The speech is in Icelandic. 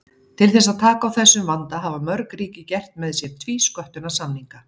Til þess að taka á þessum vanda hafa mörg ríki gert með sér tvísköttunarsamninga.